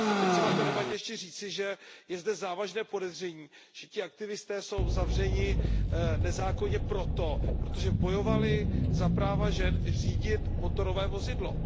Je třeba ještě k té debatě říci, že je zde závažné podezření, že ti aktivisté jsou zavřeni nezákonně proto, protože bojovali za práva žen řídit motorové vozidlo.